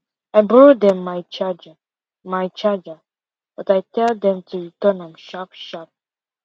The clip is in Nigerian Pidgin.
i borrow dem my charger my charger but i tell dey dem to return am sharp sharp